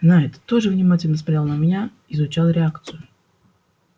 найд тоже внимательно смотрел на меня изучал реакцию